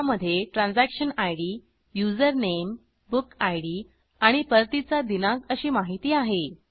त्यामधे transaction ID user name book ID आणि परतीचा दिनांक अशी माहिती आहे